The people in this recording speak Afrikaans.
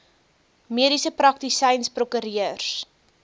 mediese praktisyns prokureurs